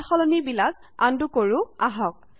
সালসলনি বিলাক আনডু কৰো আহক